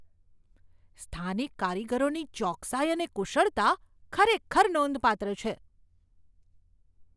સ્થાનિક કારીગરોની ચોકસાઈ અને કુશળતા ખરેખર નોંધપાત્ર છે.